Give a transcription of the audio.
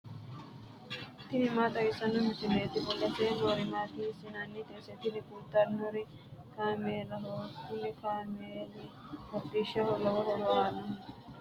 tini maa xawissanno misileeti ? mulese noori maati ? hiissinannite ise ? tini kultannori kaameelaho kuni kaameelino hodhishshaho lowo horo aannoho.